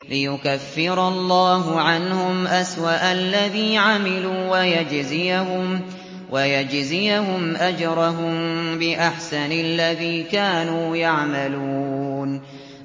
لِيُكَفِّرَ اللَّهُ عَنْهُمْ أَسْوَأَ الَّذِي عَمِلُوا وَيَجْزِيَهُمْ أَجْرَهُم بِأَحْسَنِ الَّذِي كَانُوا يَعْمَلُونَ